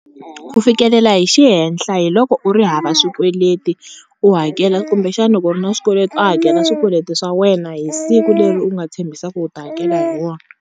Ku fikelela hi xihenhla hi loko u ri hava swikweleti u hakela kumbexana loko u ri na swikweleti u hakela swikweleti swa wena hi siku leri u nga tshembisa ku u ta hakela hi wona.